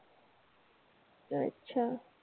अच्छा.